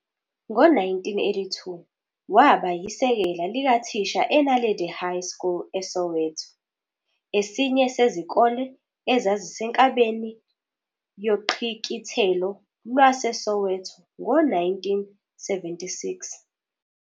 Ngo-1982 waba yisekela likathisha eNaledi High School eSoweto, esinye sezikole ezazisenkabeni yoQhikithelo lwaseSoweto ngo- 1976.